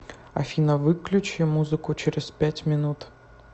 афина выключи музыку через пять минут